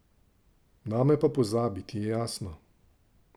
Name pa pozabi, ti je jasno?